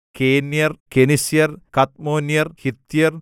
കേന്യർ കെനിസ്യർ കദ്മോന്യർ ഹിത്യർ